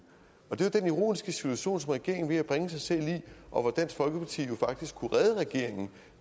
det er jo den ironiske situation som regeringen er ved at bringe sig selv i og dansk folkeparti kunne faktisk redde regeringen